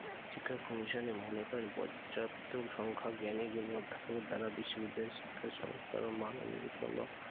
শিক্ষা commission এ মনে করেন পর্যাপ্ত সংখ্যক জ্ঞানীগুণী অধ্যাপকের দ্বারা বিশ্ববিদ্যালয়ের শিক্ষার সংস্করণ ও মান উন্নয়ন সম্ভব।